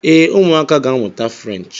Ee, ụmụaka ga-amụta French